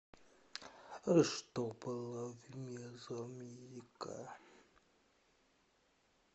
что было в мезоамерика